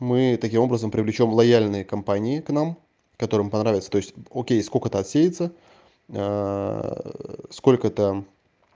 мы таким образом привлечём лояльные компании к нам которым понравится то есть окей сколько-то отсеется сколько там